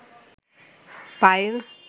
Payel